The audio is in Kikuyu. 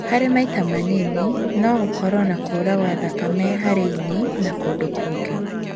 Harĩ maita manini, nomakorwo na kura gwa thakame harĩ ini na kũndũ kũngĩ